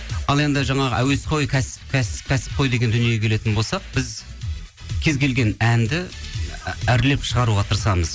ал енді жаңағы әуесқой кәсіпқой деген дүниеге келетін болсақ біз кез келген әнді әрлеп шығаруға тырысамыз